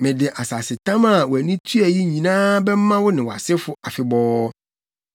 Mede asasetam a wʼani tua yi nyinaa bɛma wo ne wʼasefo afebɔɔ.